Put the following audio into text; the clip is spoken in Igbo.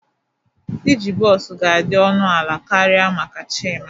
Iji bọs ga-adị ọnụ ala karịa maka Chima